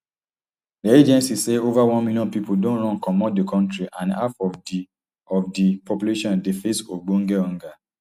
dia agencies say ova one million pipo don run comot di kontri and half of di of di population dey face ogbonge hunger